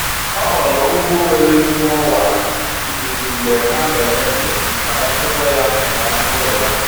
Ọ họọrọ ụgbọ nwere ezigbo ọwa ikuku mgbe ha na-eme njem maka nchekwa ya na anụ ụlọ ya